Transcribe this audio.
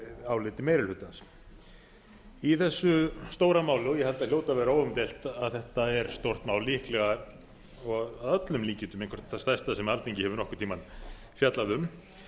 áliti meiri hlutans í þessu stóra máli og ég held að það hljóti að vera óumdeilt að þetta er stórt mál líklega og að öllum líkindum eitthvert það stærsta sem alþingi hefur nokkurn tíma fjallað um